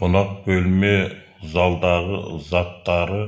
қонақ бөлме залдағы заттары